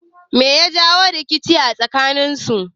Me ya jawo rikice a tsakaninsu?